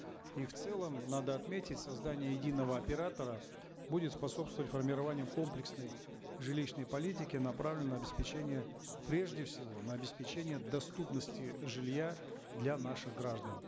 и в целом надо отметить создание единого оператора будет способствовать формированию комплексной жилищной политики направленной на обеспечение прежде всего на обеспечение доступности жилья для наших граждан